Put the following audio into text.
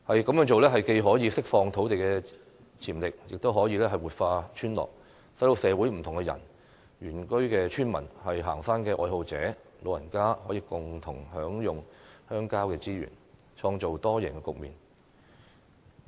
這樣做既可釋放土地潛力，亦可以活化村落，使社會不同人士，包括原居村民、行山愛好者和長者，可以共同享用鄉郊資源，創造多贏局面。